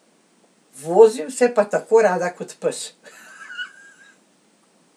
Vozim se pa tako rada kot pes.